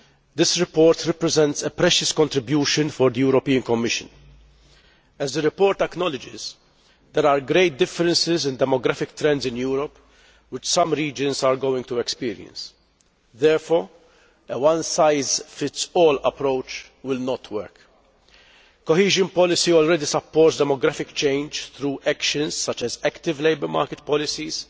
This report represents a precious contribution for the European Commission. As the report acknowledges, there are great differences in the demographic trends in Europe which some regions are going to experience. Therefore, a one size fits all' approach will not work. Cohesion policy already supports demographic change through actions such as active labour market policies,